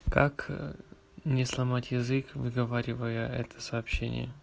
как не сломать язык выговаривая это сообщение